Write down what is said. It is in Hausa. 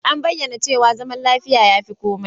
An bayyana cewa zaman lafiya ya fi komai.